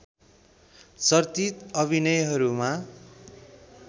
चर्चित अभिनयहरूमा